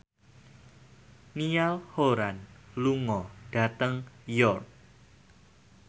Niall Horran lunga dhateng York